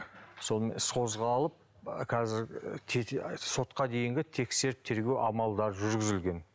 сонымен іс қозғалып қазір сотқа дейінгі тексеріп тергеу амалдары жүргізілген